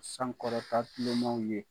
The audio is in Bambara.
Sankɔrɔta tilemaw ye